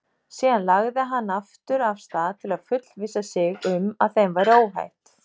Síðan lagði hann aftur af stað til að fullvissa sig um að þeim væri óhætt.